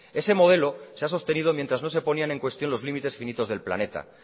ese modelo se ha sostenido mientras no se ponían en cuestión los límites finitos del planeta